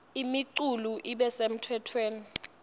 imiculu ibe semtsetfweni